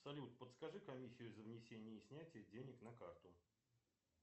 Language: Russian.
салют подскажи комиссию за внесение и снятие денег на карту